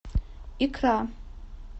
икра